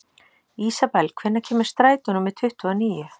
Ísabel, hvenær kemur strætó númer tuttugu og níu?